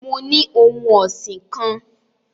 Mo ni ohun ọsin kan